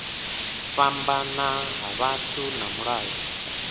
fhambana ha vhathu na mulayo